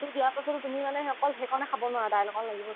ভাজি দিয়াৰ পাছতো তুমি মানে অকল সেইকণে খাব নোৱাৰা দাইল অকন লাগিব তোমাক